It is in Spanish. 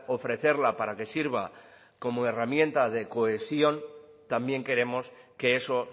ofrecerla para que sirva como herramienta de cohesión también queremos que eso